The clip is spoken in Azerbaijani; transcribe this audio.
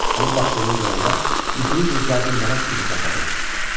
Ona baxdığımı görəndə yuxulu gözlərini mələk kimi qapadı.